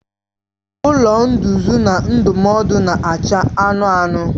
Ụlọ nduzi na ndụmọdụ na-acha anụnụ anụnụ.